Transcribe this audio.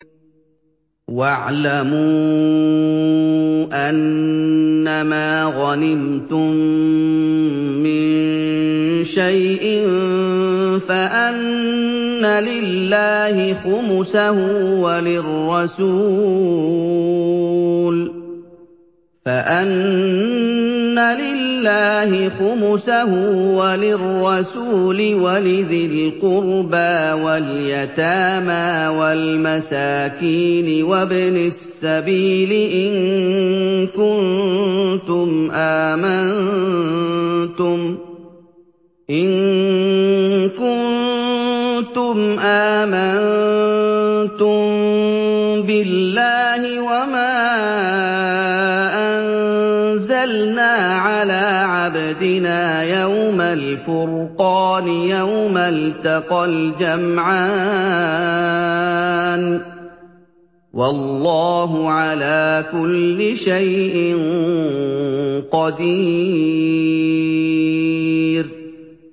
۞ وَاعْلَمُوا أَنَّمَا غَنِمْتُم مِّن شَيْءٍ فَأَنَّ لِلَّهِ خُمُسَهُ وَلِلرَّسُولِ وَلِذِي الْقُرْبَىٰ وَالْيَتَامَىٰ وَالْمَسَاكِينِ وَابْنِ السَّبِيلِ إِن كُنتُمْ آمَنتُم بِاللَّهِ وَمَا أَنزَلْنَا عَلَىٰ عَبْدِنَا يَوْمَ الْفُرْقَانِ يَوْمَ الْتَقَى الْجَمْعَانِ ۗ وَاللَّهُ عَلَىٰ كُلِّ شَيْءٍ قَدِيرٌ